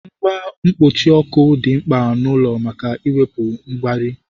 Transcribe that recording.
Ngwa mkpuchi ọkụ dị mkpa n'ụlọ maka iwepu mgbari